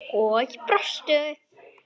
Og brostu.